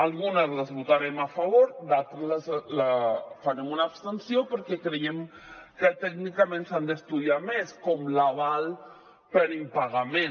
algunes les votarem a favor a d’altres farem una abstenció perquè creiem que tècnicament s’han d’estudiar més com l’aval per impagament